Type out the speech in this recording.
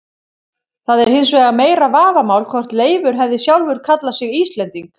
Það er hins vegar meira vafamál hvort Leifur hefði sjálfur kallað sig Íslending.